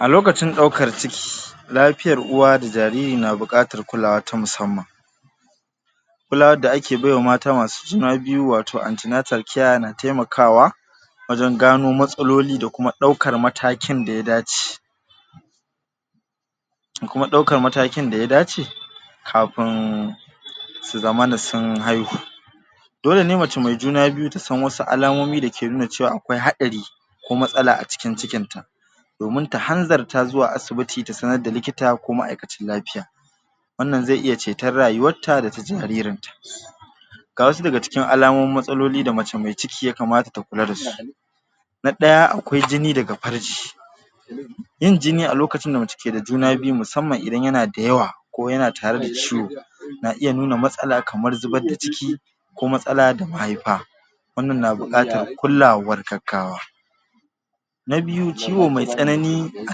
A lokacin ɗaukar ciki lapiyar uwa da jaririna buƙatar kulawa ta musamman kulawad da ake baiwa mata masu juna biyu wato na temakawa wajen gano matsaloli da kuma ɗaukar matakin da ya dace kuma ɗaukan matakin da ya dace kapun su zamana sun haihu dole ne mace mai juna biyu ta san wasu alamomi da ke nuna cewa akwai haɗari ko matsala a cikin cikin ta domin ta hanzarta zuwa asibiti ta sanar da likita ko ma'aikacin lapiya wannan ze iya ceton rayuwat ta da ta jaririn ta ga wasu dayawa cikin alamomin matsaloli da mace me ciki ya kamata ta kula da su na ɗaya akwai jini daga parji yin jini a lokacin da mace ke da juna biyu musamman idan yana da yawa ko yana tare da ciwo na iya nuna matsala kamar zubad da ciki ko matsala da mahaipa wannan na buƙatar kulawar gaggawa na byu ciwo mai tsanani a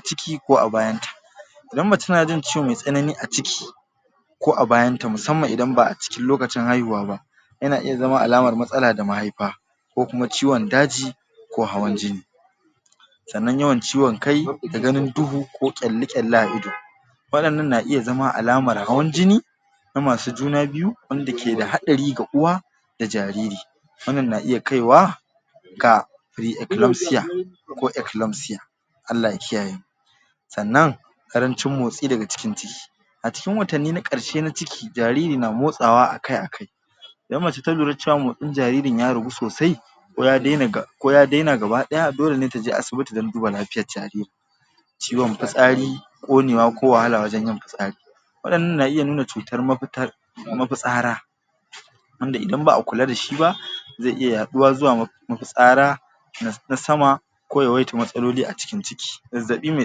ciki ko a bayan ta idan mace na ciwo mai tsanani a ciki ko a bayan ta musamman idan ba a cikin lokacin haihuwa ba yana iya zama alamar matsala da mahaifa ko kuma ciwon daji ko hawan jini sannan yawan ciwon kai da ganin duhu ƙyalli-ƙyalli a ido waɗannan na iya zama alamar hawan jini na masu juna biyu wanda ke iya haɗari ga uwa da jariri wannan na iya kaiwa ga ko Allah ya kiyaye sannan ƙarancin motsi daga cikin ciki a cikin watanni na ƙarshe na ciki jariri na motsawa a kai a kai idan mace ta lura cewa motsin jaririn ya ragu sosai ko ya dena ko ya dena gaba ɗaya dole ne ta je asibiti don duba lafiyan jariri ciwon pitsari ƙonewa ko wahala wajan yin pitsari waɗannan na iya nuna cutar mapitar mapitsara wanda isan ba a kula da shi ba ze iya yaɗuwa zuwa mapitsara na sama ko yawaitar matsaloli a cikin ciki zazzaɓi me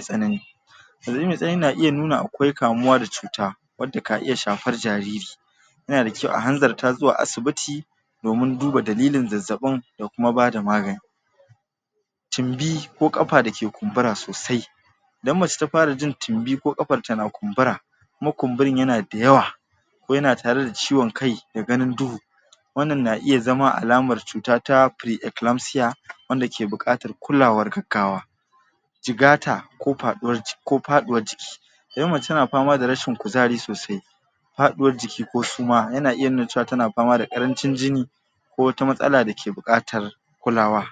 tsanani zazzaɓi me tsanani na iya nuna akwai kamuwa da cuta wanda ka iya shapar jariri yana da kyau a hanzarta zuwa asibiti domin duba dalilin zazzaɓin da kuma ba da magani tumbi ki ƙapa da ke kumbura sosai idan mace ta para jin tumbi ko ƙapan ta na kumbura kuma kumburin yana da yawa ko yana tare da ciwon kai da ganin duhu wannan na iya zama alamar cuta ta wanda buƙatar kulawar gaggawa jigata ko paɗuwar ko paɗuwar jiki idan mace tana pama da rashin kuzari sosai paɗuwar jiki ko suma yana iya cewa tana pama da ƙarancin jini ko wata mastala da ke buƙatar kulawa.